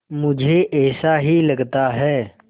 मुझे ऐसा ही लगता है